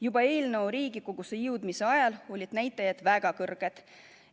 Juba eelnõu Riigikogusse jõudmise ajal olid näitajad väga kõrged.